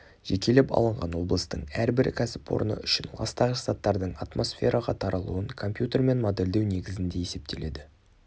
жекелеп алынған облыстың әрбір кәсіпорны үшін ластағыш заттардың атмосфераға таралуын компьютермен модельдеу негізінде есептеледі